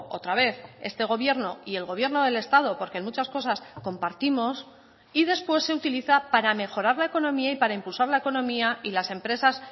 otra vez este gobierno y el gobierno del estado porque en muchas cosas compartimos y después se utiliza para mejorar la economía y para impulsar la economía y las empresas